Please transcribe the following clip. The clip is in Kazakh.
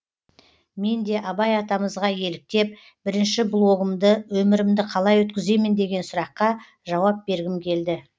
мен де абай атамызға еліктеп бірінші блогымды өмірімді қалай өткіземін деген сұраққа жауап бергім келді